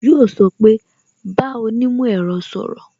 Yo sọ pé "bá onímò ẹ̀rọ sọ̀rọ̀